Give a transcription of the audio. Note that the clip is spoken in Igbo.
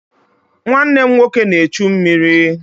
Nwanne m nwoke na-echu mmiri.